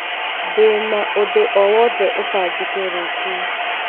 Ndi na ũndũ o wothe ũbangĩtwo rũciũ